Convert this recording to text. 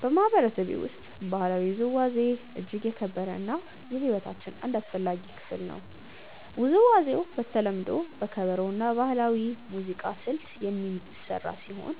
በማህበረሰቤ ውስጥ ባህላዊ ውዝዋዜ እጅግ የተከበረ እና የሕይወታችን አንድ አስፈላጊ ክፍል ነው። ውዝዋዜው በተለምዶ በከበሮ እና በባህላዊ ሙዚቃ ስልት የሚመራ ሲሆን